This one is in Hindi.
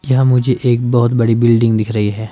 यहां मुझे एक बहुत बड़ी बिल्डिंग दिख रही है।